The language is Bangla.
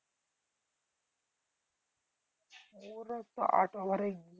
ওরা বোধহয় আট over এই